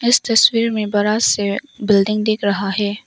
इस तस्वीर में बड़ा से बिल्डिंग दिख रहा है।